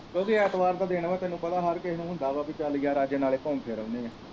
ਕਿਉਂਕਿ ਐਤਵਾਰ ਦਾ ਦਿਨ ਹੈ ਤੈਨੂੰ ਪਤਾ ਹਰ ਕਿਸੇ ਨੂੰ ਹੁੰਦਾ ਵਾ ਵੀ ਚੱਲ ਯਾਰ ਅੱਜ ਨਾਲੇ ਘੁੰਮ ਫਿਰ ਆਉਣੇ ਹੈ।